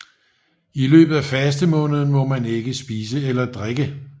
I løbet af fastemåneden må man ikke spise eller drikke